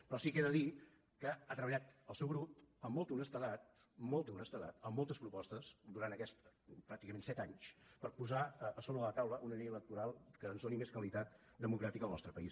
però sí que he de dir que ha treballat el seu grup amb molta honestedat molta honestedat amb moltes propostes durant aquests pràcticament set anys per posar sobre la taula una llei electoral que ens doni més qualitat democràtica al nostre país